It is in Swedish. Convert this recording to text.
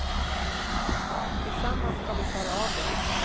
Tillsammans ska vi klara av det.